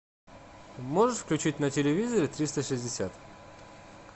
можешь включить на телевизоре триста шестьдесят